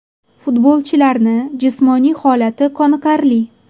Futbolchilarni jismoniy holati qoniqarli.